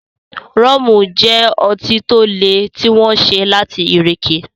Rọ́mù jẹ́ ọtí to le tí wọ́n ṣe láti ìrèké